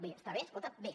bé està bé escolta bé